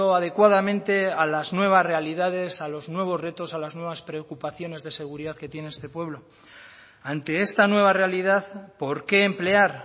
adecuadamente a las nuevas realidades a los nuevos retos a las nuevas preocupaciones de seguridad que tiene este pueblo ante esta nueva realidad por qué emplear